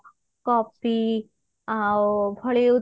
coffee ଆଉ ଭଳି